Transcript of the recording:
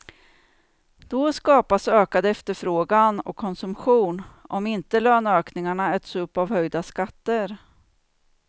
Då skapas ökad efterfrågan och konsumtion, om inte löneökningarna äts upp av höjda skatter.